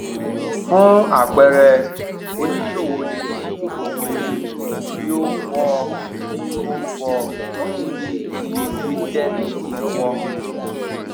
fún àpẹẹrẹ oníṣòwò lè ní ohun èlò tí n fọ tí n fọ dígí ti windex lọwọ